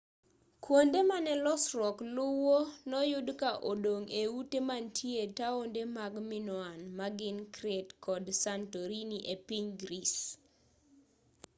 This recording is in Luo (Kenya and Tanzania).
kuonde mane losruok luwo noyud ka odong' e ute mantie taonde mag minoan magin crete kod santorini epiny greece